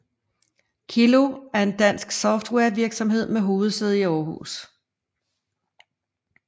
Kiloo er en dansk software virksomhed med hovedsæde i Aarhus